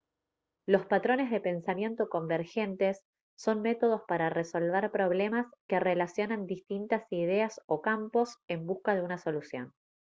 los patrones de pensamiento convergente son métodos para resolver problemas que relacionan distintas ideas o campos en busca de una solución